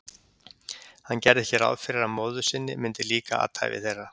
Hann gerði ekki ráð fyrir að móður sinni myndi líka athæfi þeirra.